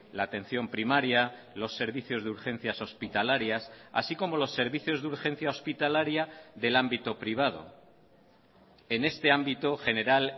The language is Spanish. la atención primaria los servicios de urgencias hospitalarias así como los servicios de urgencia hospitalaria del ámbito privado en este ámbito general